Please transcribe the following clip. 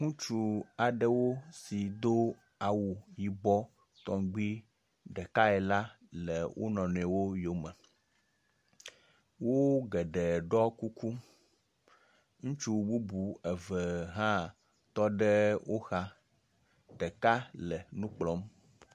Ŋutsu aɖewo si do awu yibɔ tɔgbi ɖekae la le wo nɔ nɔewo yome. Wo geɖewo ɖɔ kuku, ŋutsu bubu eve hã tɔ ɖe wo xa, ɖeka le nu kplɔm.